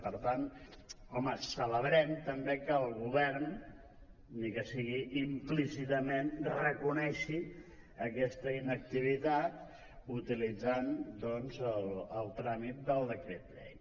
per tant home celebrem també que el govern ni que sigui implícitament reconegui aquesta inactivitat utilitzant doncs el tràmit del decret llei